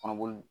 Kɔnɔboli